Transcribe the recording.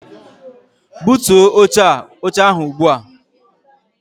Butuo oche ahụ ugbu a!